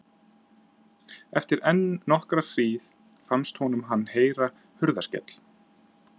Eftir enn nokkra hríð fannst honum hann heyra hurðarskell.